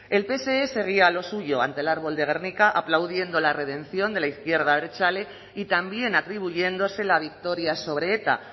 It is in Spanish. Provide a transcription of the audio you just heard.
el pse seguía a lo suyo ante el árbol de gernika aplaudiendo la redención de la izquierda abertzale y también atribuyéndose la victoria sobre eta